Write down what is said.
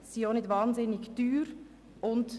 Sie sind auch nicht unglaublich teuer.